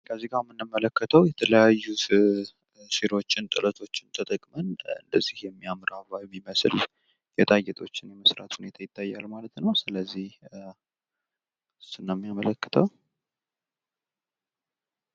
ከዚህ ጋር የምንመለከተዉ የተለያዩ ሲሮችን ጥለቶችን ተጠቅመን እንደዚህ የሚያምር አበባ የሚመስል ጌጣጌጦችን የመስራት ሁኔታ ይታያል ማለት ነዉ። ስለዚህ እሱን ነዉ የሚያመለክተዉ ማለት ነዉ።